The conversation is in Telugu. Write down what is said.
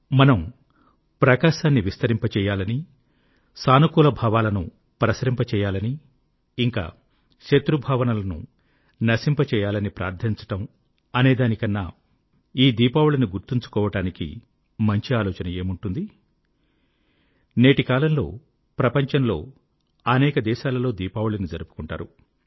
మనము ప్రకాశాన్ని విస్తరింపచేయాలని సానుకూలభావాలను ప్రసరింపజేయాలని ఇంకా శత్రుభావనలను నశింపజేయాలని ప్రార్థించడం అనే దాని కన్నా ఈ దీపావళిని గుర్తుంచుకోవడానికి మంచి ఆలోచన ఏముంటుంది నేటికాలంలో ప్రపంచంలో అనేక దేశాలలో దీపావళిని జరుపుకుంటారు